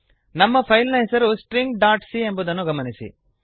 ನಮ್ಮ ಫೈಲ್ ನ ಹೆಸರು ಸ್ಟ್ರಿಂಗ್ ಡಾಟ್ ಸಿ ಎಂಬುದನ್ನು ಗಮನಿಸಿ